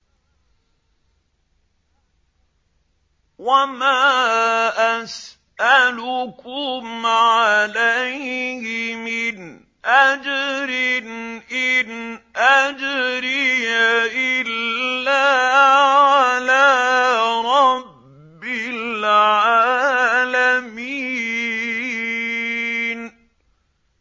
وَمَا أَسْأَلُكُمْ عَلَيْهِ مِنْ أَجْرٍ ۖ إِنْ أَجْرِيَ إِلَّا عَلَىٰ رَبِّ الْعَالَمِينَ